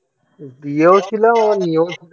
দিয়েওছিলাম আবার নিয়েওছিলাম